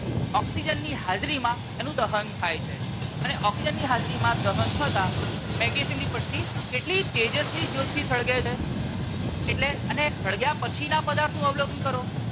Oxygen ની હાજરી માં એનું દહન થાય છે અને ઓક્સિજન ની હાજરી માં દહન થતાં મેગ્નેશિયમ ની પટ્ટી કેટલી તેજસ્વી જ્યોત થી સળગે છે. એટલે અને સળગ્યા પછી ના પદાર્થ નું અવલોકન કરો.